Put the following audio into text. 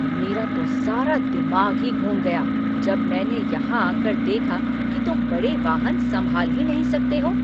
मेरा तो सारा दिमाग ही घूम गया जब मैंने यहां आकर देखना कि तुम बड़े वाहन संभाल ही नहीं सकते हो।